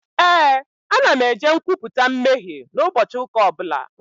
Ee, ana m eje nkwupụta mmehie n'ụbọchị ụka ọbụla